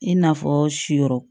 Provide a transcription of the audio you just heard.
I n'a fɔ si yɔrɔ